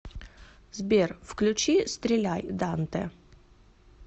сбер включи стреляй дантэ